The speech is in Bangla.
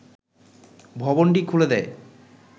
ভবনটি খুলে দেয়